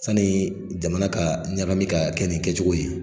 San nin jamana ka ɲagami ka kɛ nin kɛcogo ye.